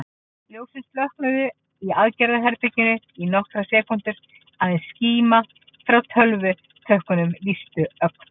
Ljósin slokknuðu í aðgerðaherberginu í nokkrar sekúndur, aðeins skíma frá tölvutökkunum lýsti ögn.